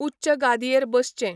उच्च गादयेंर बसचें